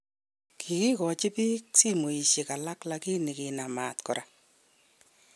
Kigikachi biik simosyek alak lakini kinam maat kora